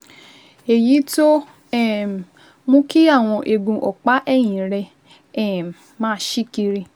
èyí tó um mú kí àwọn eegun ọ̀pá ẹ̀yìn rẹ um máa ṣí kiri